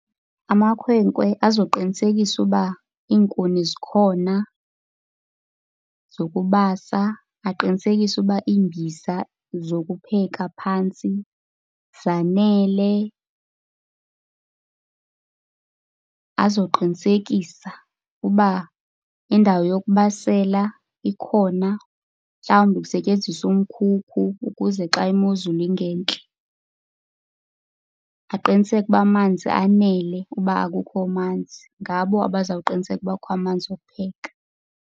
Amakhwenkwe azoqinisekisa uba iinkuni zikhona zokubasa, baqinisekise uba iimbiza zokupheka phantsi zanele. Azoqinisekisa uba indawo yokubasela ikhona, mhlawumbi kusetyenziswa umkhukhu ukuze xa imozulu ingentle. Aqiniseke uba amanzi anele uba akukho manzi, ngabo abazawuqiniseka uba kukho amanzi wokupheka.